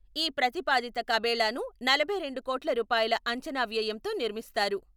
ఈ ప్రతిపాదిత కబేళాను నలభై రెండు కోట్ల రూపాయల అంచనా వ్యయంతో నిర్మిస్తారు.